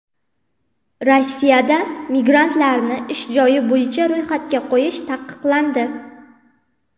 Rossiyada migrantlarni ish joyi bo‘yicha ro‘yxatga qo‘yish taqiqlandi.